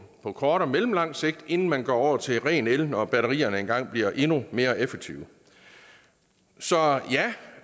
på kort og mellemlang sigt inden man går over til ren el når batterierne engang bliver endnu mere effektive så ja